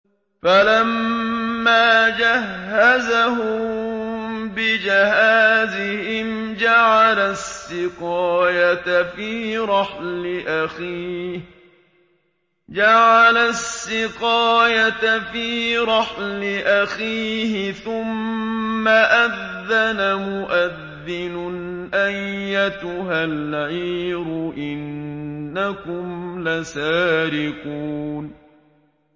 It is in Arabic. فَلَمَّا جَهَّزَهُم بِجَهَازِهِمْ جَعَلَ السِّقَايَةَ فِي رَحْلِ أَخِيهِ ثُمَّ أَذَّنَ مُؤَذِّنٌ أَيَّتُهَا الْعِيرُ إِنَّكُمْ لَسَارِقُونَ